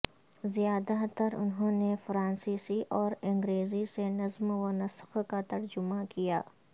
زیادہ تر انہوں نے فرانسیسی اور انگریزی سے نظم و نسق کا ترجمہ کیا